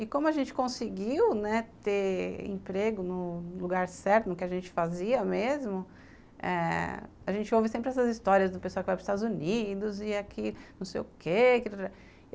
E como a gente conseguiu, né, ter emprego no no lugar certo, no que a gente fazia mesmo, a gente ouve sempre essas histórias do pessoal que vai para os Estados Unidos e é que não sei o quê.